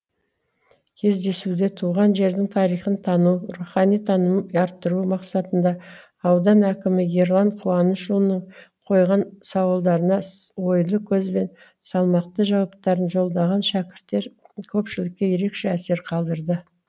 кездесуде туған жердің тарихын тану рухани танымын арттыру мақсатында аудан әкімі ерлан қуанышұлының қойған сауалдарына ойлы көзбен салмақты жауаптарын жолдаған шәкірттер көпшілікке ерекше әсер қалдырды